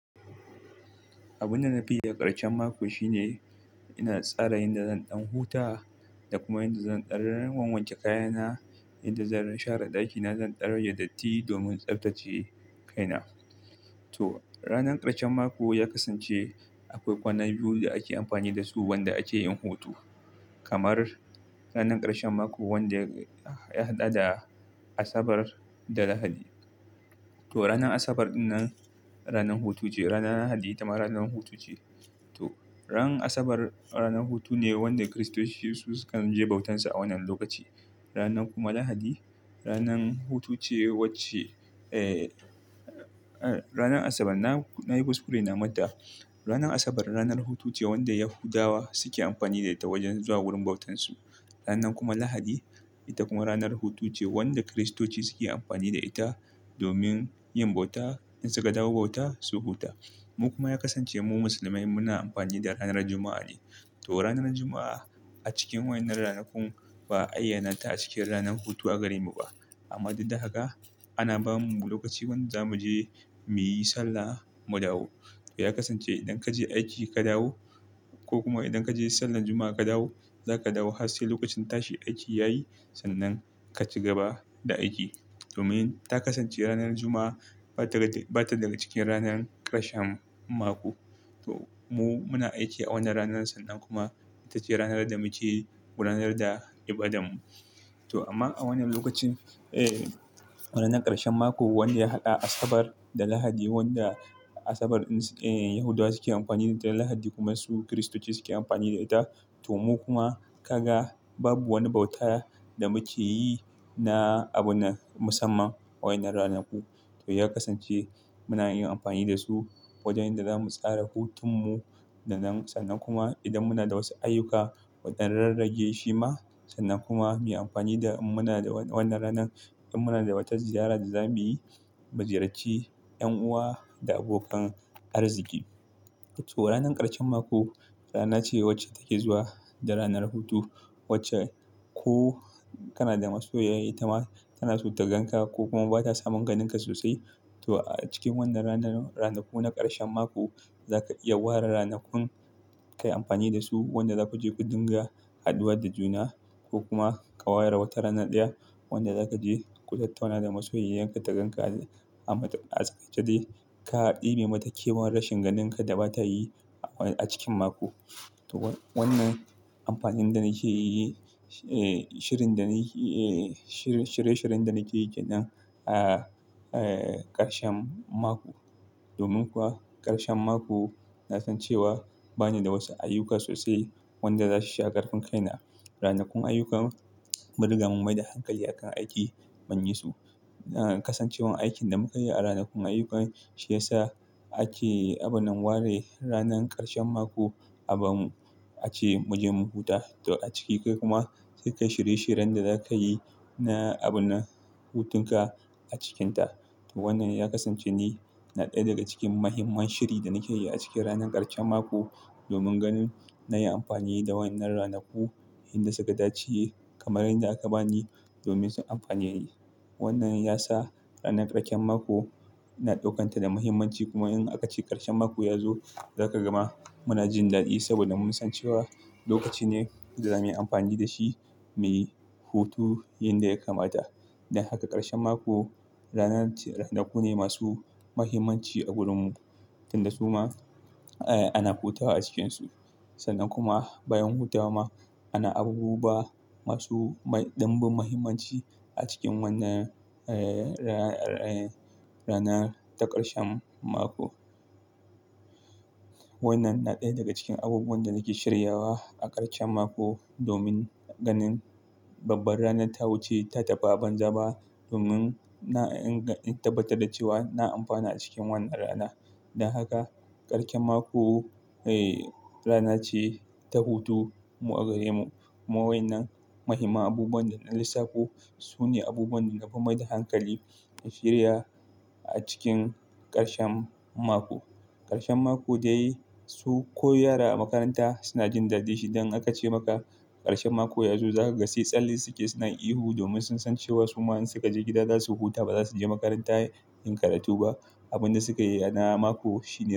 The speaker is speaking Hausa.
Abin da na ke yi a ƙarshen mako shine ina tsara yadda zan ɗan huta da kuma yadda zan wanke kayana, yadda zan share ɗakina, zan dan rage datti domin tsaftace kaina. To ranar ƙarshen mako ya kasance akwai kwana biyu da ake amfani da su wanda ake yin hutu. Kamar ranar ƙarshen mako wanda ya haɗa da Asabar da Lahadi. To ranar Asabar ranar hutu ce, ranar Lahadi itama ranar hutu ce. To ran Asabar ranar hutu ne wanda Kiristoci su sukan je bautan su a wannan lokaci. Ranar kuma Lahadi ranar hutu ce wacce-- eh ranar Asabar na, na yi kuskure na manta. Ranar Asabar ranar hutu ce wanda Yahudawa suke amfani da ita wajen zuwa wurin bautan su. Ranar kuma Lahadi ita kuma ranar hutu ce wanda Kiristoci suke amfani da ita domin yin bauta in su ka dawo bauta su huta. Mu kuma ya kasance mu musulmai muna amfani da ranar Juma'a ne. To ranar Juma'a a cikin waɗannan ranakun ba a ayyana ta a cikin ranar hutu a gare mu ba. Amma duk da haka ana ba mu lokaci wanda za mu je muyi sallah mu dawo. Ya kasance idan ka je aiki ka dawo ko kuma idan ka je sallar Juma'a ka dawo, za ka dawo har sai lokacin tashi aiki yayi sannan ka ci gaba da aiki. Domin ta kasance ranar Juma'a ba ta daga cikin ranar ƙarshen mako. To mu muna aiki a wannan ranar sannan kuma ita ce ranar da muke gudanar da ibadan mu. To amma a wannan lokacin eh wannan ranar ƙarshen mako wanda ya haɗa Asabar da Lahadi wanda Asabar Yahudawa suke amfani da ita Lahadi kuma su Kiristoci suke amfani da ita. To mu kuma kaga babu wani bauta da muke yi na abuna musamman a waɗannan ranaku. To ya kasance muna yin amfani da su wajen da za mu tsara hutun mu da nan sannan kuma idan muna da wasu ayyuka mudan ɗan rarrage shi ma sannan kuma mu yi amfani da in muna da wannan ranar in muna da wata ziyara da za mu yi, mu ziyarci 'yan uwa da abokan arziki. To ranar ƙarshen mako rana ce wacce take zuwa da ranar hutu wacce ko kana da masoyiya ita ma tana so ta gan ka ko kuma ba ta samun ganin ka sosai. To a cikin wannan ranar, ranaku na ƙarshen mako za ka iya ware ranakun ka yi amfani da su wanda za ku je ku dinga haduwa da juna ko kuma ka ware wata rana ɗaya wanda za ka je ku tattauna da masoyiyarka ta ganka a maraice dai ka ɗebe mata kewar rashin ganinka da ba ta yi a cikin mako. To wannan amfanin da nake yi eh shirin da na yi eh shiri-- shirye-shiryen da nake yi kenan a eh ƙarshen mako. Domin kuwa ƙarshen mako na san cewa bani da wasu ayyuka sosai wanda za su sha ƙarfin kai na. Ranakun ayyuka mun riga mun mai da hankali a kan aiki mun yi su. Kasancewan aikin da mukai a ranakun ayyukan shi ya sa ake abun nan ware ranar ƙarshen mako abun ace mujin mu huta. To a ciki kai kuma sai ka shirye-shiryen da za ka yi na abunan hutun ka a cikinta. To wannan ya kasance ni na ɗaya daga cikin muhimman shiri da nake yi a cikin ranar ƙarshen mako domin ganin na yi amfani da wannan ranaku inda suka dace kamar yadda aka bani domin su amfane ni. Wannan ya sa ranar ƙarshen mako ina ɗaukanta da muhimmanci kuma in aka ce ƙarshen mako ya zo za ka gama muna jin ɗaɗi saboda mun san cewa lokaci ne da zamuyi amfani da shi muyi hutu yanda ya kamata. Dan haka ƙarshen mako ranar ce ranaku ne masu muhimmanci a gurinmu. Tunda su ma ah ana hutawa a cikinsu sannan kuma bayan hutawa ma ana abubuwa masu mai ɗanbin muhimmanci a cikin wannan eh ranar ta ƙarshen mako. Wannan na ɗaya daga cikin abubuwan da nake shiryawa a ƙarshen mako domin ganin babbar rana ta wuce ta tafi a ban zaba ba domin in tabbatar da cewa na amfana cikin wannan rana. Dan haka ƙarshen mako eh rana ce ta hutu mu a gare mu kuma wannan muhimman abubuwan da na lissafo su ne abubuwan da na fi mai da hankali in shirya a cikin ƙarshen mako. Ƙarshen mako dai su ko yara a makaranta suna jin daɗin shi idan aka ce maka ƙarshen mako ya zo za ka ga sai tsalle suke suna ihu domin sun san cewa su ma in suka je gida za su huta ba za su je makaranta yin karatu ba. Abun da suka yi a mako shi.